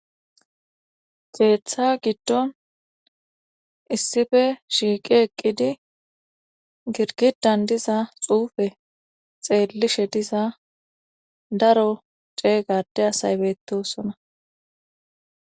xeetha giddon issife shiiqi eqqidi girgidan diza xuufe xeellishe diza daro ceega ade asaybetosona